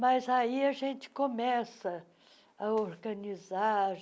Mas aí a gente começa a organizar.